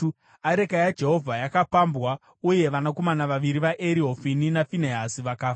Areka yaJehovha yakapambwa uye vanakomana vaviri vaEri, Hofini naFinehasi, vakafa.